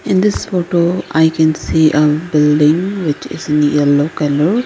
in this photo i can see a building which is in yellow colour.